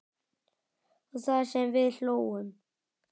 Og það sem við hlógum.